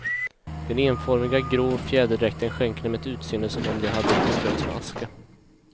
Den enformiga, grå fjäderdräkten skänker dem ett utseende som om de hade beströtts med aska.